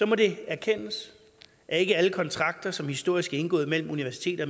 må det erkendes at ikke alle kontrakter som historisk er indgået mellem universiteter